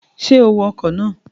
Ṣé o wọ ọkọ̀ náà?